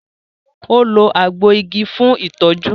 o lo àgbo ìgi fún itọju